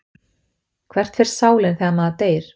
Hvert fer sálin þegar maður deyr?